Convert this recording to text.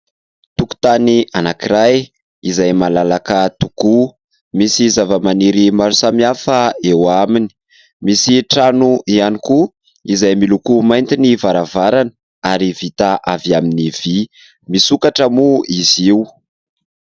tokon-tany anaky iray izay malalaka tokoa, misy zava-maniry maro samihafa eo aminy. Misy trano ihany koa izay miloko mainty ny varavarana ary vita avy amin'ny vy misokatra moa izy io.